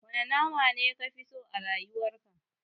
Wane nama ne kafi so a rayuwar ka?